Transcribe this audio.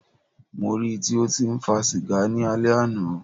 Mó rí í tí o tí ń fa sìgá ni alẹ́ àná.